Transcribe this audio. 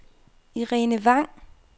Irene Vang